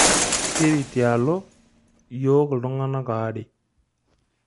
Siri tialo yiook iltunganak aare.